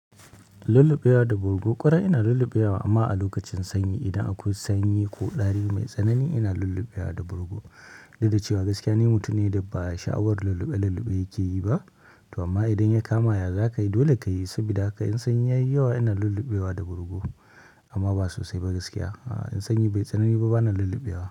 Lulluɓewa da bargo ƙwarai ina lulluɓewa amma a lokacin sanyi idan akwai sanyi ko ɗari mai tsanani ina lulluɓewa da bargo. Duk da cewa gaskiya ne mutane da ba sha'awar lulluɓe lulluɓe yake yi ba to amma idan ya kamaya za ka yi dole ka yi saboda haka in sanyi ya yi yawa ina lulluɓewa da bargo amma ba sosai ba gaskiya. A'a in sanyi bai tsanani ba bana lulluɓewa.